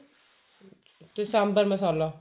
ਕੇ sambar ਮਸਾਲਾ